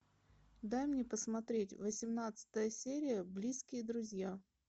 дай мне посмотреть восемнадцатая серия близкие друзья